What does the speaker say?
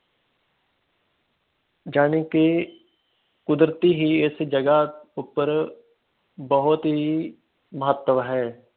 ਜਾਣੀ ਕਿ ਕੁਦਰਤੀ ਹੀ ਇਸ ਜੱਗ ਉੱਪਰ ਬਹੁਤ ਹੀ ਮਹੱਤਵ ਹੈ